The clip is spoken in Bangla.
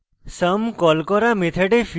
sum কল করা method ফিরে যায় এবং